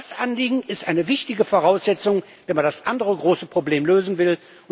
nicht. Aber das Anliegen ist eine wichtige Voraussetzung, wenn man das andere große Problem lösen